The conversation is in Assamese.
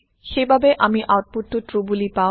সেই বাবে আমি আওতপুত ট্ৰু বোলি পাওঁ